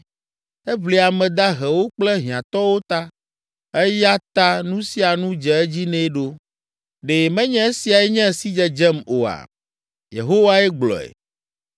Eʋli ame dahewo kple hiãtɔwo ta eya ta nu sia nu dze edzi nɛ ɖo. Ɖe menye esiae nye sidzedzem oa?” Yehowae gblɔe.